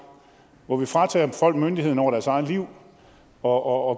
hvor vi fratager folk myndigheden over deres eget liv og